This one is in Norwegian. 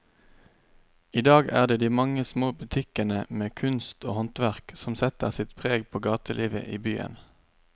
I dag er det de mange små butikkene med kunst og håndverk som setter sitt preg på gatelivet i byen.